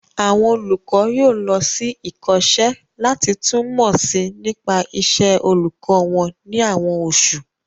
Àwọn olùkọ́ yóò lọ sí ìkọ́ṣẹ́ láti tún mọ̀ si nípa ìṣe olùkọ́ wọn ní àwọn osu